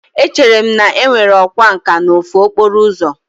Echere m na e nwere ọkwá nkà n'ofe okporo ụzọ